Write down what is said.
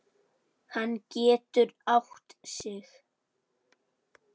Hann getur átt sig.